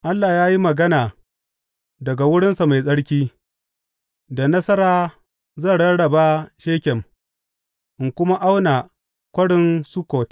Allah ya yi magana daga wurinsa mai tsarki, Da nasara zan rarraba Shekem in kuma auna Kwarin Sukkot.